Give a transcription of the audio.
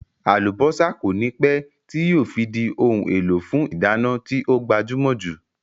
Àlùbọ́sá kònípẹ́ tíì yìí ó fi di òun èlò fún ìdáná tí ó gbajúmò jù